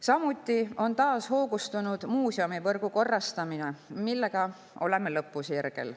Samuti on taas hoogustunud muuseumivõrgu korrastamine, millega oleme lõpusirgel.